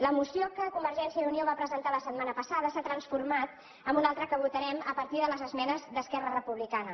la moció que convergència i unió va pre·sentar la setmana passada s’ha transformat en una altra que votarem a partir de les esmenes d’esquerra repu·blicana